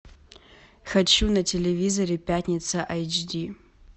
хочу на телевизоре пятница айч ди